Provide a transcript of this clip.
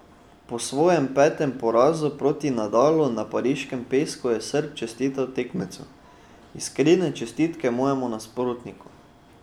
Po svojem petem porazu proti Nadalu na pariškem pesku je Srb čestital tekmecu: "Iskrene čestitke mojemu nasprotniku.